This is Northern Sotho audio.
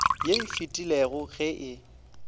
ye e fetilego ge e